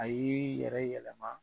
A yee i yɛrɛ yɛlɛma